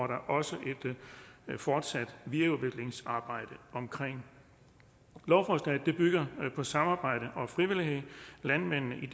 der også et fortsat videreudviklingsarbejde omkring lovforslaget bygger på samarbejde og frivillighed landmændene i